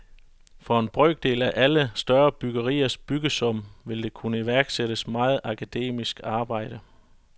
For en brøkdel af alle større byggeriers byggesum vil der kunne iværksættes meget akademisk arbejde.